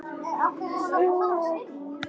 Farðu vel.